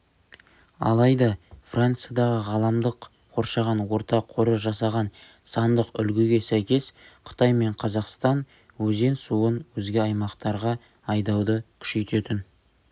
алайда франциядағы ғаламдық қоршаған орта қоры жасаған сандық үлгіге сәйкес қытай мен қазақстан өзен суын өзге аймақтарға айдауды күшейтетін